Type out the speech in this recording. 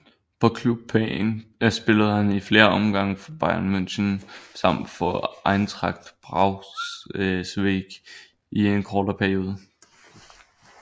På klubplan spillede han i flere omgange for Bayern München samt for Eintracht Braunschweig i en kortere periode